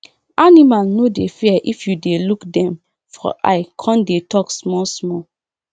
animal no dey fear if you dey look dem for eye con dey talk small small